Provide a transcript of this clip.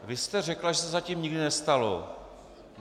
Vy jste řekla, že se to zatím nikdy nestalo.